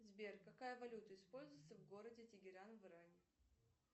сбер какая валюта используется в городе тегеран в иране